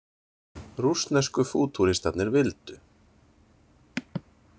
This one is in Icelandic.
Rússnesku fútúristarnir vildu.